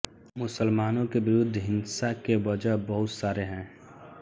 मुसलमानों के विरुद्ध हिंसा के बज़ह बहुत सारे हैं